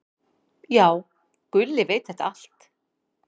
"""Já, Gulli veit þetta allt."""